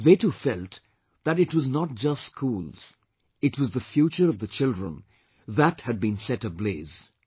They too felt that it was not just schools, it was the future of the children, that had been set ablaze